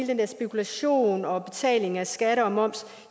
det med spekulation og betaling af skatter og moms